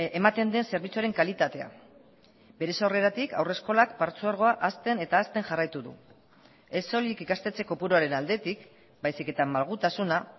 ematen den zerbitzuaren kalitatea bere sorreratik haurreskolak partzuergoa hazten eta hazten jarraitu du ez soilik ikastetxe kopuruaren aldetik baizik eta malgutasuna